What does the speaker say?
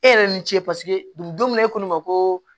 E yɛrɛ ni ce paseke ni don min na e ko ne ma ko